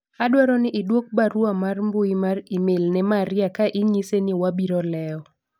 adwaro ni idwok barua mar mbui mar email ne Maria ka inyise ni wabiro lewo